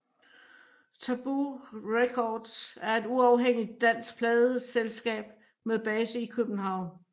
Tabu Records er et uafhængigt dansk pladeselskab med base i København